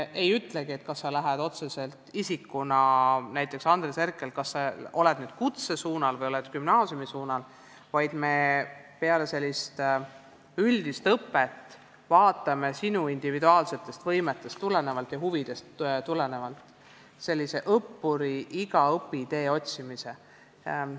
Me ei ütlegi, kas sina otseselt isikuna, näiteks Andres Herkel, oled nüüd kutsesuunal või gümnaasiumisuunal, vaid me peale sellise üldise õppe vaatame sinu individuaalsetest võimetest ja huvidest tulenevalt, kuidas toimub õpitee otsimine.